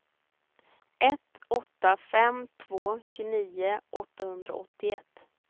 ett åtta fem två tjugonio åttahundraåttioett